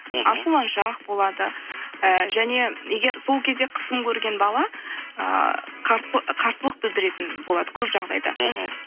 ашуланшақ болады і және егер сол кезде қысым көрген бала ы қарсылық білдіретін болады көп жағдайда мхм